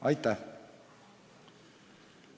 Aitäh!